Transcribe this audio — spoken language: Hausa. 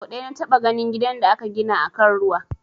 Sau ɗaya na taɓa ganin gidan da aka gina akan ruwa